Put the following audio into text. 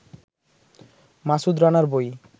মাসুদ রানার বই